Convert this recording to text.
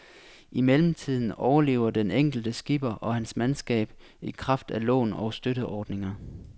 I mellemtiden overlever den enkelte skipper og hans mandskab i kraft af lån og støtteordninger.